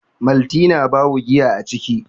maltina babu giya a ciki